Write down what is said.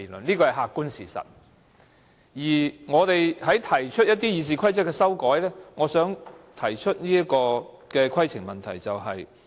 有關我們就《議事規則》提出的修訂議案，我想提出規程問題。